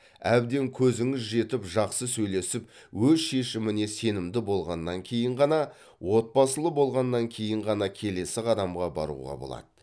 әбден көзіңіз жетіп жақсы сөйлесіп өз шешіміне сенімді болғаннан кейін ғана отбасылы болғаннан кейін ғана келесі қадамға баруға болады